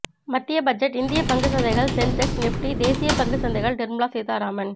மத்திய பட்ஜெட் இந்திய பங்கு சந்தைகள் சென்செக்ஸ் நிஃப்டி தேசிய பங்கு சந்தைகள் நிர்மலா சீதாராமன்